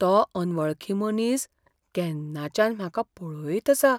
तो अनवळखी मनीस, केन्नाच्यान म्हाका पळयत आसा.